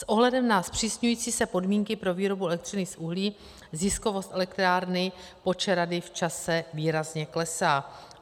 S ohledem na zpřísňující se podmínky pro výrobu elektřiny z uhlí ziskovost elektrárny Počerady v čase výrazně klesá.